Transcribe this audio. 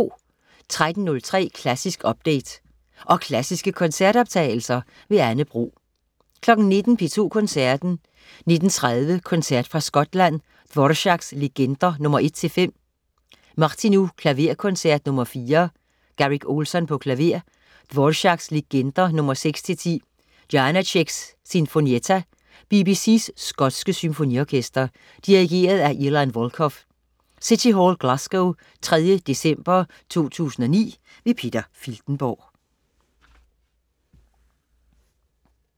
13.03 Klassisk update. Og klassiske koncertoptagelser. Anne Bro 19.00 P2 Koncerten. 19.30 Koncert fra Skotland. Dvorák: Legender nr. 1-5. Martinu: Klaverkoncert nr. 4. Garrick Ohlsson, klaver. Dvorák: Legender nr. 6-10. Janácek: Sinfonietta. BBC's skotske Symfoniorkester. Dirigent: Ilan Volkov. (City Hall, Glasgow 3. december 2009). Peter Filtenborg